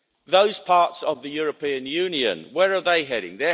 it. Those parts of the European Union, where are they heading?